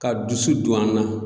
Ka dusu don an na.